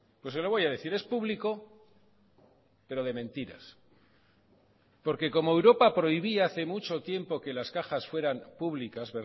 pues se lo voy a decir es público pero de mentiras porque como europa prohibía hace mucho tiempo que las cajas fueran públicas